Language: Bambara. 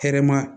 Hɛrɛ ma